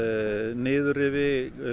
niðurrifi